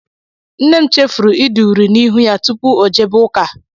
Nne m chefuru ide uri n'ihu ya tụpụ ọ jebe ụka.